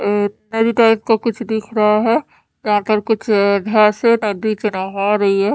एक नदी टाइप का कुछ दिख रहा है यहा पर कुछ भेसे नही में नहा रही है।